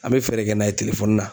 An bɛ fɛɛrɛ kɛ n'a ye na.